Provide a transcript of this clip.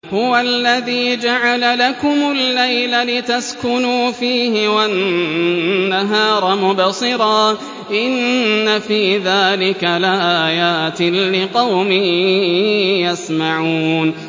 هُوَ الَّذِي جَعَلَ لَكُمُ اللَّيْلَ لِتَسْكُنُوا فِيهِ وَالنَّهَارَ مُبْصِرًا ۚ إِنَّ فِي ذَٰلِكَ لَآيَاتٍ لِّقَوْمٍ يَسْمَعُونَ